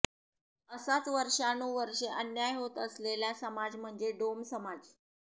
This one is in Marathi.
असाच वर्षानुवर्षे अन्याय होत असलेला समाज म्हणजे डोम समाज